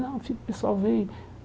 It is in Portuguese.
Não, fica. O pessoal vem.